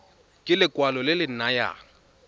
ke lekwalo le le nayang